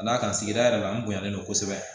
Ka d'a kan sigida yɛrɛ la an bonyalen don kosɛbɛ